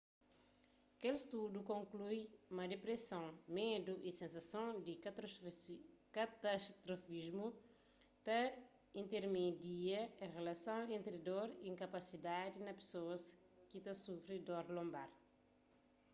kel studu konklui ma dipreson medu y sensason di katastrofismu ta intermedia rilason entri dor y inkapasidadi na pesoas ki ta sufri di dor lonbar